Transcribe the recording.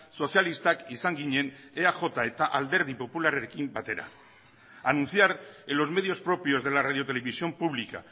sozialistak izan ginen eaj eta alderdi popularrarekin batera anunciar en los medios propios de la radiotelevisión pública